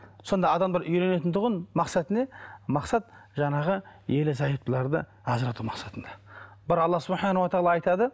сонда адамдар үйренетін тұғын мақсаты не мақсат жаңағы ерлі зайыптыларды ажырату мақсатында бір алла айтады